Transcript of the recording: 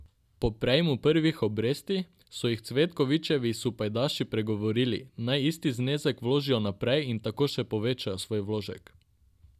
Po prejemu prvih obresti, so jih Cvetkovićevi sopajdaši pregovorili, naj isti znesek vložijo naprej in tako še povečajo svoj vložek.